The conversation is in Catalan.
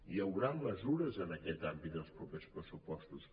hi haurà mesures en aquest àmbit en els propers pressupostos